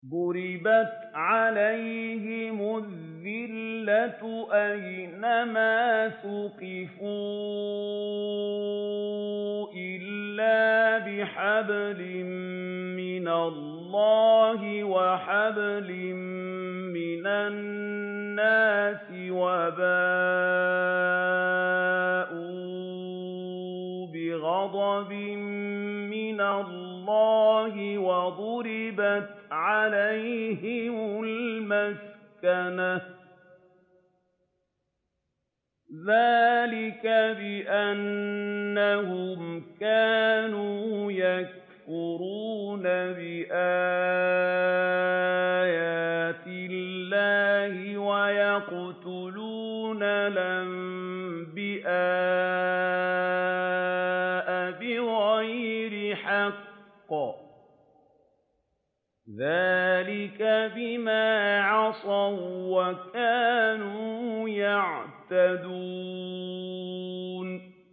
ضُرِبَتْ عَلَيْهِمُ الذِّلَّةُ أَيْنَ مَا ثُقِفُوا إِلَّا بِحَبْلٍ مِّنَ اللَّهِ وَحَبْلٍ مِّنَ النَّاسِ وَبَاءُوا بِغَضَبٍ مِّنَ اللَّهِ وَضُرِبَتْ عَلَيْهِمُ الْمَسْكَنَةُ ۚ ذَٰلِكَ بِأَنَّهُمْ كَانُوا يَكْفُرُونَ بِآيَاتِ اللَّهِ وَيَقْتُلُونَ الْأَنبِيَاءَ بِغَيْرِ حَقٍّ ۚ ذَٰلِكَ بِمَا عَصَوا وَّكَانُوا يَعْتَدُونَ